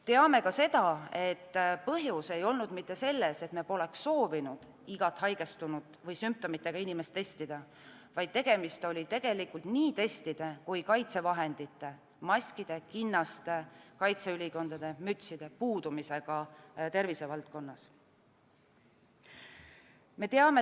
Teame ka seda, et põhjus ei olnud mitte selles, et me poleks soovinud igat haigestunut või sümptomitega inimest testida, vaid tegemist oli nii testide kui ka kaitsevahendite – maskide, kinnaste, kaitseülikondade ja mütside – puudumisega tervisevaldkonnas.